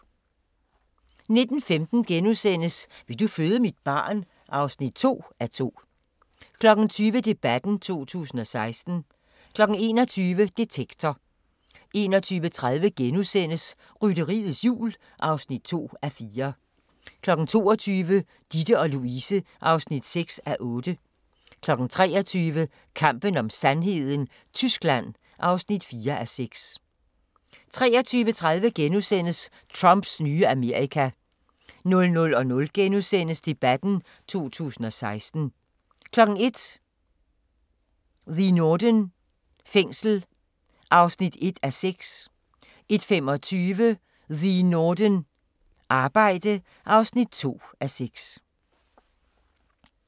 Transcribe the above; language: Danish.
19:15: Vil du føde mit barn? (2:2)* 20:00: Debatten 2016 21:00: Detektor 21:30: Rytteriets Jul (2:4)* 22:00: Ditte & Louise (6:8) 23:00: Kampen om sandheden: Tyskland (4:6) 23:30: Trumps nye Amerika * 00:00: Debatten 2016 * 01:00: The Norden – fængsel (1:6) 01:25: The Norden – Arbejde (2:6)